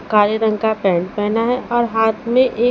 काले रंग का पैंट पहेना है और हाथ में ए--